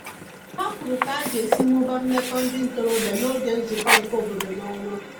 Ha kwuru ka aga esi mụbaa meko ndi ntorobia n'oge nzuko nke obodo n'onwa